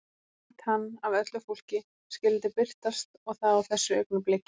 Að einmitt hann af öllu fólki skyldi birtast og það á þessu augnabliki.